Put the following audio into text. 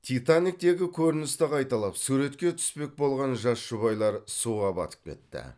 титаниктегі көріністі қайталап суретке түспек болған жас жұбайлар суға батып кетті